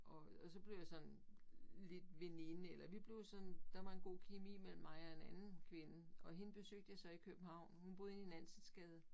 Og og så blev jeg sådan lidt veninde eller vi blev sådan der var en god kemi mellem mig og en anden kvinde og hende besøgte jeg så i København hun boede inde i Nansensgade